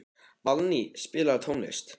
Valný, spilaðu tónlist.